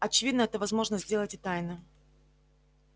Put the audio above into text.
очевидно это возможно сделать и тайно